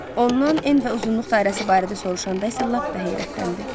Ondan en və uzunluq dairəsi barədə soruşanda isə lap da heyrətləndi.